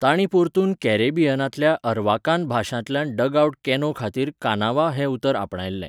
तांणी परतून कॅरिबियनांतल्या अरवाकान भाशांतल्यान डगआउट कॅनो खातीर कानावा हें उतर आपणयल्लें .